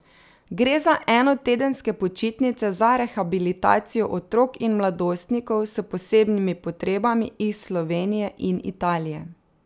Gre za enotedenske počitnice za rehabilitacijo otrok in mladostnikov s posebnimi potrebami iz Slovenije in Italije.